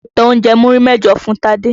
Mo ta oúnjẹ́ múrí mẹ́jọ fún Tádé.